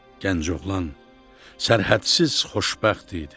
Gənc oğlan sərhədsiz xoşbəxt idi.